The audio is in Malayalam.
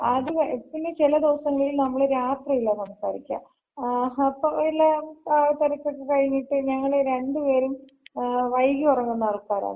ആദ്യമേ പിന്ന ചില ദിവസങ്ങളിള് നമ്മള് രാത്രിയലാ സംസാരിക്കാ. ആഹ് അപ്പൊ എല്ലാ തിരക്കൊക്കെ കഴിഞ്ഞിട്ട് ഞങ്ങള് രണ്ട് പേരും വൈകി ഒറങ്ങുന്ന ആൾക്കാരാണ്.